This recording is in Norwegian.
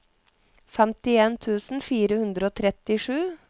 femtien tusen fire hundre og trettisju